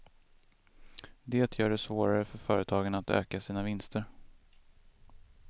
Det gör det svårare för företagen att öka sina vinster.